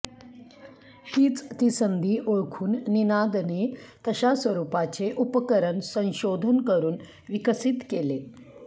हीच ती संधी ओळखून निनादने तशा स्वरुपाचे उपकरण संशोधन करुन विकसित केले